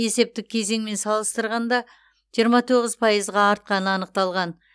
есептік кезеңмен салыстырғанда жиырма тоғыз пайызға артқаны анықталған